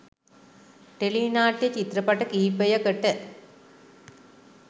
Tele නාට්‍ය චිත්‍රපට කිහිපයකට.